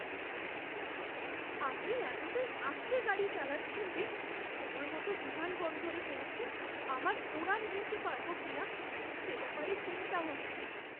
আপনি এতটাই আস্তে গাড়ি চালাচ্ছেন যে সময়মতো বিমানবন্দরে পৌঁছে আমার উড়ান ধরতে পারবো কিনা সে ব্যাপারে চিন্তা হচ্ছে।